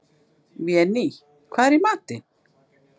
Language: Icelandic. Véný, hvað er í matinn?